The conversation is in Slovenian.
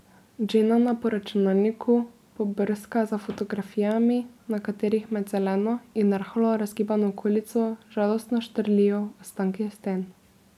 Dženana po računalniku pobrska za fotografijami, na katerih med zeleno in rahlo razgibano okolico žalostno štrlijo ostanki sten.